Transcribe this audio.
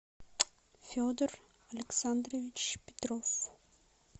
федор александрович петров